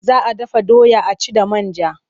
Za a dafa doya a ci da man ja.